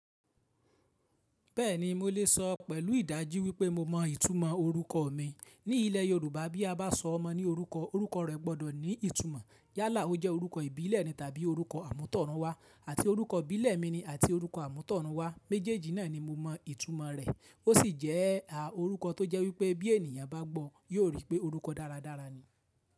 Bẹ́ẹ̀ni mo lè sọ pẹ̀lú ìdají wípé mo mọ ìtumọ̀ orúkọ mi. Ní ilẹ̀ Yorùbá bí a bá sọ ọmọ ní orúkọ, orúkọ rẹ̀ gbọ́dọ̀ ní ìtumọ̀. Yálà ọ jẹ́ orúkọ ìbílẹ̀ ni tàbí orúkọ àmútọ̀run wá àti orúkọ ìbílẹ̀ mi ni àti orúkọ àmútọ̀run wá. Méjèèjì náà ni mo mọ ìtumọ̀ rẹ̀. Ó sì jẹ́ a orúkọ tó jẹ́ wípé bí ènìyàn bá gbọ́ yóò rí pé orúkọ dáradára ni.